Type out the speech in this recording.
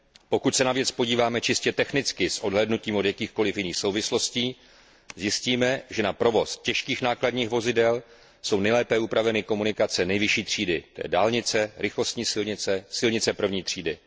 Pokud se na věc podíváme čistě technicky s odhlédnutím od jakýchkoliv jiných souvislostí, zjistíme, že na provoz těžkých nákladních vozidel jsou nejlépe upraveny komunikace nejvyšší třídy, tj. dálnice, rychlostní silnice, silnice první třídy.